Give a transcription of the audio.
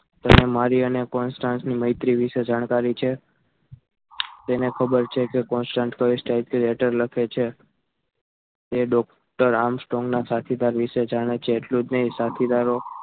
મારી અને constant ની મૈત્રી વિશે જાણકારી છે તેને ખબર છે કે constant એ કઈ type થી letter લખે છે તે doctor આમ સ્ટ્રોંગના સાથીદાર વિશે જાણે છે એટલું જ નહીં સાથીદારો